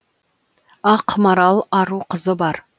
ақ марал ару қызы бар